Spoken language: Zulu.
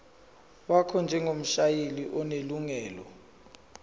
wakho njengomshayeli onelungelo